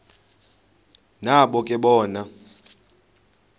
nabo ke bona